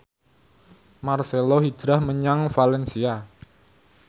marcelo hijrah menyang valencia